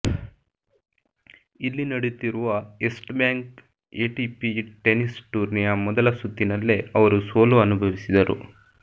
ಇಲ್ಲಿ ನಡೆಯುತ್ತಿರುವ Erste bank ATP tennis ಟೂರ್ನಿಯ ಮೊದಲ ಸುತ್ತಿನಲ್ಲೇ ಅವರು ಸೋಲು ಅನುಭವಿಸಿದರು